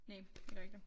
Næ det var ikke det